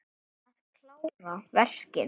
Að klára verkin.